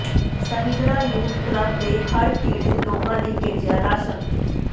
Sahjra youth club ਨੇ ਹੜ੍ਹ ਪੀੜਤ ਲੋਕਾਂ ਲਈ ਭੇਜਿਆ ਰਾਸ਼ਨ